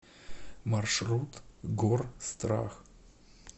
маршрут горстрах